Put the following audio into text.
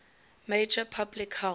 major public health